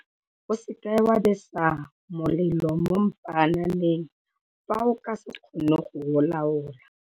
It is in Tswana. O seka wa besa molelo mo mpaananeng fa o ka se kgone go o laola.